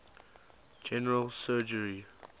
general surgery